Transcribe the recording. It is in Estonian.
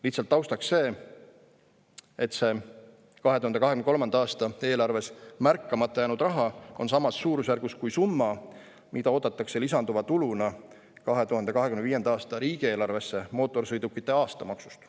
Lihtsalt taustaks: see 2023. aasta eelarves märkamata jäänud raha on samas suurusjärgus kui summa, mida oodatakse lisanduva tuluna 2025. aasta riigieelarvesse mootorsõidukite aastamaksust.